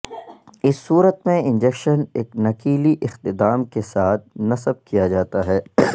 اس صورت میں انجکشن ایک نکیلی اختتام کے ساتھ نصب کیا جاتا ہے